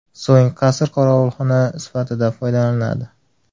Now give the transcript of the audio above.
So‘ng qasr qorovulxona sifatida foydalaniladi.